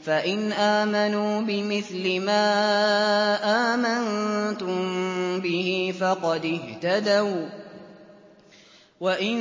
فَإِنْ آمَنُوا بِمِثْلِ مَا آمَنتُم بِهِ فَقَدِ اهْتَدَوا ۖ وَّإِن